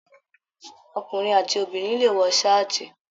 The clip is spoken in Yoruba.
Ọkùnrin àti Obìnrin le wọ saati.